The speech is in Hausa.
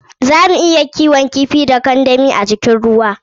Zamu iya kiwon kifi a kandami da jikin ruwa.